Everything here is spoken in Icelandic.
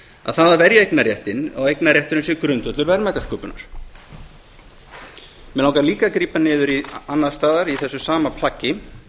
að það að verja eignarréttinn og eignarrétturinn sé grundvöllur verðmætasköpunar mig langar líka að grípa niður annars staðar í þessu sama plaggi